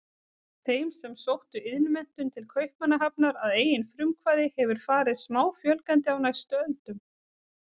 Þeim sem sóttu iðnmenntun til Kaupmannahafnar að eigin frumkvæði hefur farið smáfjölgandi á næstu öldum.